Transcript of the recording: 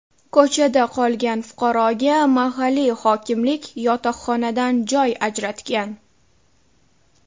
Ko‘chada qolgan fuqaroga mahalliy hokimlik yotoqxonadan joy ajratgan.